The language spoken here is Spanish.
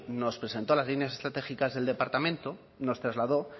nos presentó las líneas estratégicas del departamento nos trasladó